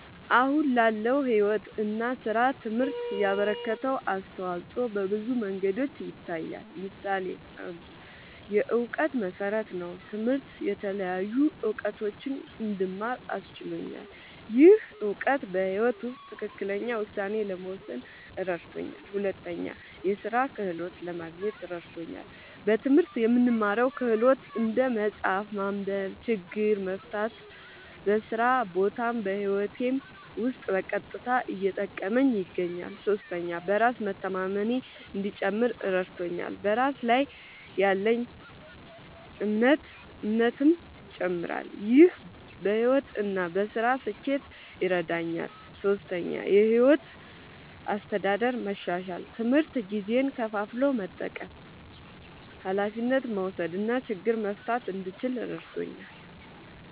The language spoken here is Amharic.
አሁን ላለው ሕይወት እና ሥራ ትምህርት ያበረከተው አስተዋጾ በብዙ መንገዶች ይታያል። ምሳሌ ፩, የእውቀት መሠረት ነዉ። ትምህርት የተለያዩ እዉቀቶችን እንድማር አስችሎኛል። ይህ እውቀት በሕይወት ውስጥ ትክክለኛ ውሳኔ ለመወሰን እረድቶኛል። ፪, የሥራ ክህሎት ለማግኘት እረድቶኛል። በትምህርት የምንማረው ክህሎት (እንደ መጻፍ፣ ማንበብ፣ ችግር መፍታ) በስራ ቦታም በህይወቴም ዉስጥ በቀጥታ እየጠቀመኝ ይገኛል። ፫. በራስ መተማመኔ እንዲጨምር እረድቶኛል። በራስ ላይ ያለኝ እምነትም ይጨምራል። ይህ በሕይወት እና በሥራ ስኬት ይረዳኛል። ፬,. የሕይወት አስተዳደር መሻሻል፦ ትምህርት ጊዜን ከፋፍሎ መጠቀም፣ ኃላፊነት መውሰድ እና ችግር መፍታት እንድችል እረድቶኛል።